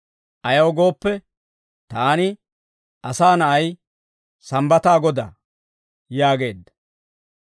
Ayaw gooppe, taani, Asaa Na'ay, Sambbataa Godaa» yaageedda.